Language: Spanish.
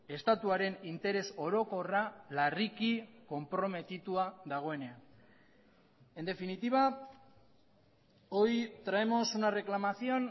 estatuaren interes orokorra larriki konprometitua dagoenean en definitiva hoy traemos una reclamación